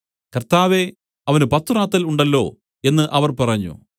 കർത്താവേ അവന് പത്തു റാത്തൽ ഉണ്ടല്ലോ എന്നു അവർ പറഞ്ഞു